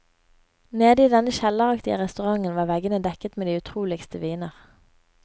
Nede i denne kjelleraktige restauranten var veggene dekket med de utroligste viner.